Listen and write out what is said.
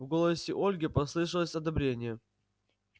в голосе ольги послышалось одобрение